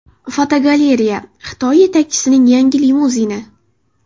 Fotogalereya: Xitoy yetakchisining yangi limuzini.